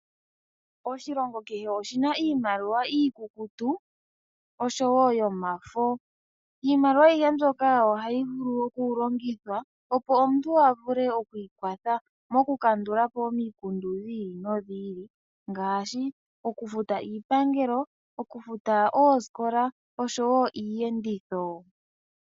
Oshilongo kehe oshina iimaliwa iikukutu noyo mafo, iimaliwa ayihe mbyoka ohayi vulu okulongithwa opo omuntu a vule oku ikwatha mokukandulapo omikundu dhi ili nodhi ili ngaashi okufuta iipangelo, okufuta oosikola niiyenditho.